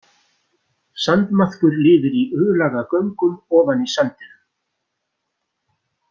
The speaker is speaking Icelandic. Sandmaðkur lifir í U-laga göngum ofan í sandinum.